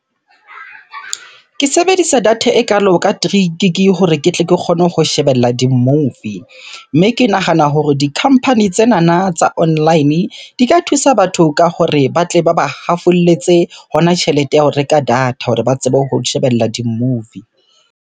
Ke sebedisa data ekalo ka three gig hore ke tle ke kgone ho shebella di-movie. Mme ke nahana hore di-company tsenana tsa online, di ka thusa batho ka hore batle ba ba hafolletse hona tjhelete ya ho reka data hore ba tsebe ho shebella di-movie.